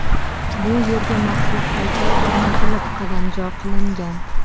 Bu yerga maxsus haykal o‘rnatilib, qadamjo qilingan.